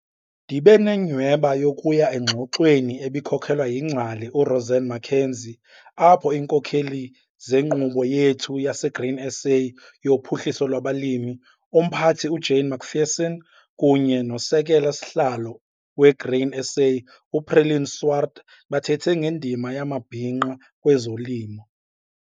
Ndibe nenyhweba yokuya engxoxweni ebikhokelwa yingcali uRozanne McKenzie apho iinkokeli zeNkqubo yethu yaseGrain SA yoPhuhliso lwabaLimi, uMphathi uJane McPherson, kunye noSekela-sihlalo weGrain SA uPreline Swart, bathethe ngendima yamabhinqa kwezolimo.